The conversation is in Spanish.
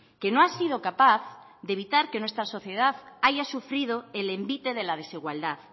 que no ha sido capaz de evitar que nuestra sociedad haya sufrido el envite de la desigualdad